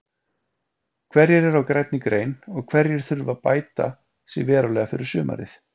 Hverjir eru á grænni grein og hverjir þurfa bæta sig verulega fyrir sumarið?